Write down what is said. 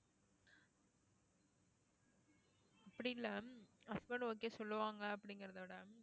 அப்படி இல்லை husband okay சொல்லுவாங்க அப்படிங்கிறதை விட